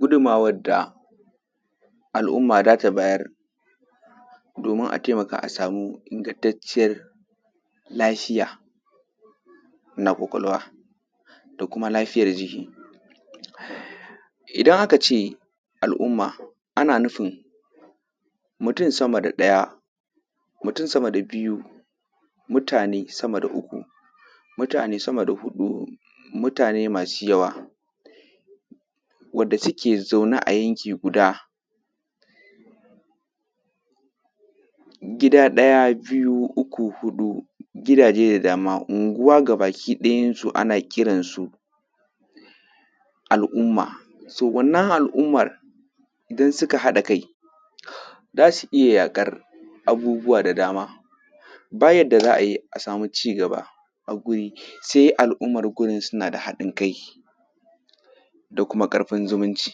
Gudummawad da al’umma da ta bayar domin a temaka a sami ingantacciyar lahiya na ƙwaƙwalwa da kuma lafiyar jiki. Idan aka ce al’umma, ana nufin mutun sama da ɗaya, mutun sama da biyu, mutane sama da uku, mutane dama da huɗu, mutane masu yawa wadda suke zaune a yanki guda, gida ɗaya, biyu, uku, huɗu, gidaje da dama, unguwa gabakiɗayansu ana kiran su al’umma. “So” wannan al’ummar, idan sika haɗa kai za su iya yaƙar abubuwa da dama. Ba yadda za a yi a sami cigaba a guri, se al’ummar gurin suna da haɗin-kai da kuma ƙarfin ziminci.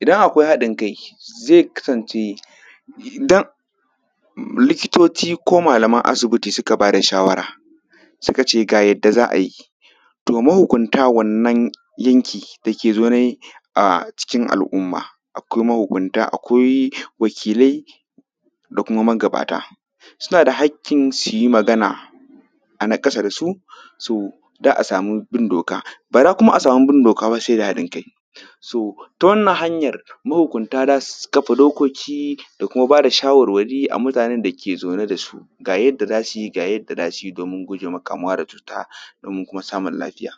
Idan akwai haɗin-kai, ze kasance, i;dam; m; likitoci ko malaman asibiti sika ba da shawara, sika ce ga yadda za a yi, to mahukunta wannan yanki da ke zaune a cikin al’umma, akwai mahukunta akwai wakilai da kuma magabata. Suna da hakkin si yi magana a naƙasa da su, su da a samu bin doka, ba za kuma a samu bin doka ba se da haɗin-kai. ‘So”, ta wannan hanyar mahukunta da su kafa dokoki da kuma ba da shawarwari a mutanen da ke zaune da su. Ga yadda za si yi, ga yadda da si yi domin guje ma kamuwa da cuta domin kuma samun lafiya.